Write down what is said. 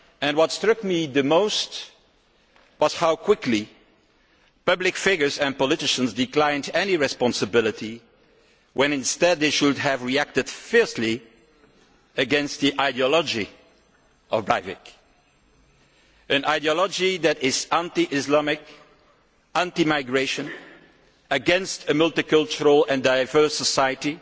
What struck me the most was how quickly public figures and politicians declined any responsibility when instead they should have reacted fiercely against Breivik's ideology, an ideology that is anti Islamic, anti migration, against a multicultural and diverse society,